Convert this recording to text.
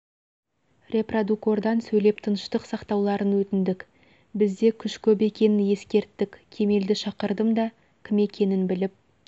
репродукордан сөйлеп тыныштық сақтауларын өтіндік бізде күш көп екенін ескерттік кемелді шақырдым да кім екенін біліп